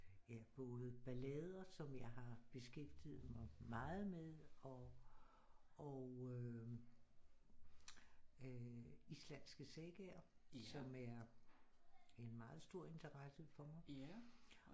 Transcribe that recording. Ja både ballader som jeg har beskæftiget mig meget med og øh islandske sagaer som er en meget stor interesse for mig